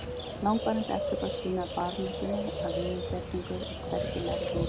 Langvarandi eftirköst sýna barónessunni að viðurgerningur er hvergi nærri nógu góður.